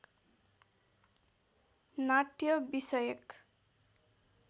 नाट्य विषयक